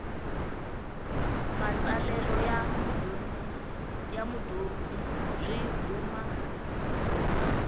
matsalelo ya mudyondzi byi huma